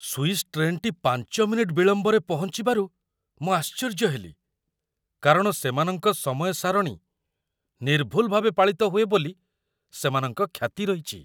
Swiss ଟ୍ରେନ୍‌ଟି ୫ minute ବିଳମ୍ବରେ ପହଞ୍ଚିବାରୁ ମୁଁ ଆଶ୍ଚର୍ଯ୍ୟ ହେଲି, କାରଣ ସେମାନଙ୍କ ସମୟ ସାରଣୀ ନିର୍ଭୁଲ ଭାବେ ପାଳିତ ହୁଏ ବୋଲି ସେମାନଙ୍କ ଖ୍ୟାତି ରହିଛି।